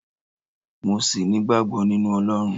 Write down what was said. mo sì nigbagbo ninu Olorun